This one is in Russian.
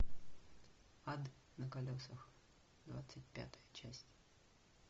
ад на колесах двадцать пятая часть